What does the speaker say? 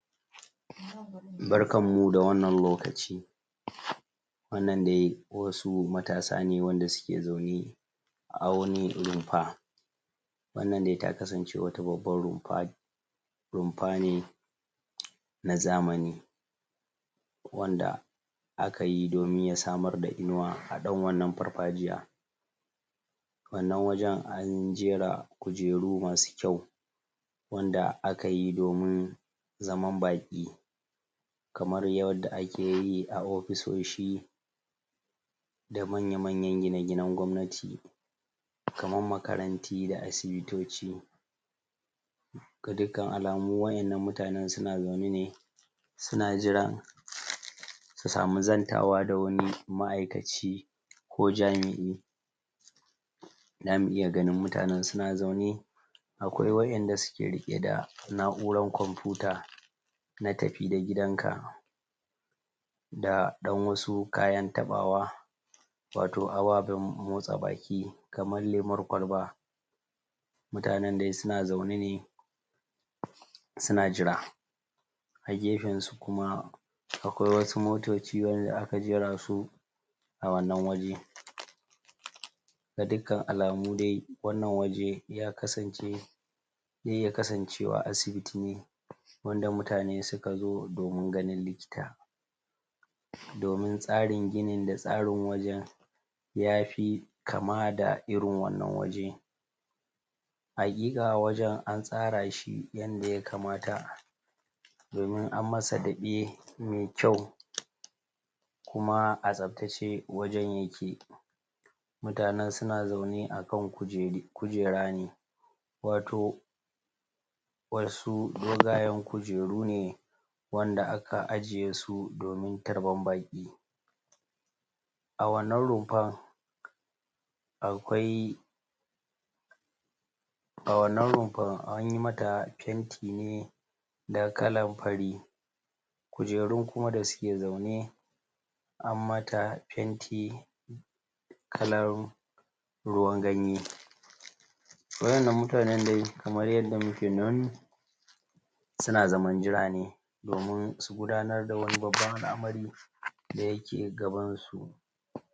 barkanmu da wanna lokaci wannan wasu matasa ne wanda suke zaune a wani rumfa wannan dai ta kasance wata babban rumfa rumfa ne na zamani wanda aka yi domin ya samar da inuwa a dan wannan farfajiya wannan wajan an jera kujeru masu kyau wanda aka yi domin zaman baki kamar yadda akeyi a ofisoshi da manya manyan gine-ginan Gwamnat- kaman makarantu da Asubutoci ga dukkan alamu wa'yannan mutanan suna zaune ne suna jiran su sami zantawa da wani ma'aykaci ko jami'i za mu iya ganjin muta nan suna zau ne akwai wa'yanda suke rike da na'urar kwamfuta na tafi da gidanka da dan wasu kayan tabawa wato ababan motsa baki kamar lemun kwalba mutanan dai suna zauna ne suna jira a gefan su kuma akwai wasu motoci yadda aka jerasu a wannan waje ga dukkan alamu dai, wannan waje ya kasance zai iya kasancewa asibiti ne wanda muta ne suka zo domin likita domin tsarin ginin da tsarin wajan yafi kama da irin wannan waje hakika waje an tsara shi yadda ya kamata domin an masa dabe mai kyau kuma a tsabtace wurin yake mutanan suna zaune a kan kujera ne wato wasu dogayan kujeru ne wanda aka ajjiye su domin tarban baki a wannan rumfa akwai a wannan rumfar anyi mata fenti ne da kalan fari kujerun kuma da suke zaune an mata fenti kalar ruwan ganye wa'yannan mutanan dai kamar yadda muke nan su zaman jira domin su gudanar da wani babban al'amari da ya ke gaban su